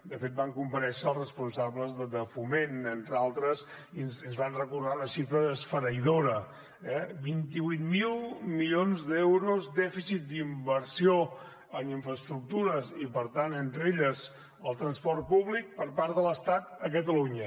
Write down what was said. de fet van comparèixer els responsables de foment entre altres i ens van recordar una xifra esfereïdora vint vuit mil milions d’euros dèficit d’inversió en infraestructures i per tant entre elles el transport públic per part de l’estat a catalunya